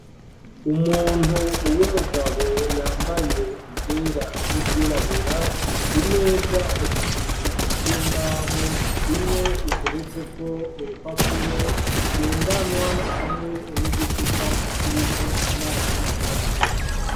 Umuntu w'umugabo yambaye ivyera n'ivyirabura, imeza zibiri z'imbaho imwe iteretseko urupapuro ngendanwa hamwe n'igicupa kirimwo amazi make.